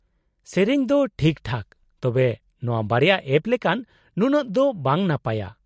-ᱥᱮᱹᱨᱮᱹᱧ ᱫᱚ ᱴᱷᱤᱠᱴᱷᱟᱠ, ᱛᱚᱵᱮ ᱱᱚᱶᱟ ᱵᱟᱨᱭᱟ ᱮᱯ ᱞᱮᱠᱟᱱ ᱱᱩᱱᱟᱹᱜ ᱫᱚ ᱵᱟᱝ ᱱᱟᱯᱟᱭᱼᱟ ᱾